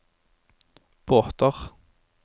båter